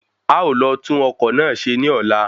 A ó lọ tún ọkọ́ náà ṣe ní ọ̀la